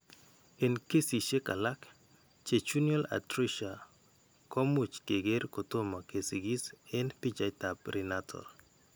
Eng' kesisiek alak, jejunal atresia ko much keker kotomo kesikis eng' bichaaitap prenatal.